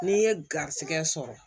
N'i ye garizɛgɛ sɔrɔ